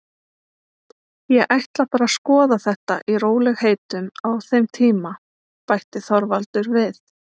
Ég ætla bara að skoða þetta í rólegheitum á þeim tíma, bætti Þorvaldur við.